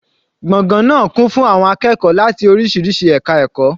Gbọ̀ngàn náà kún fún àwọn akẹ́kọ̀ọ́ láti oríṣiríṣi ẹka ẹ̀kọ́.